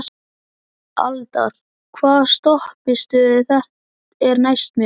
Aldar, hvaða stoppistöð er næst mér?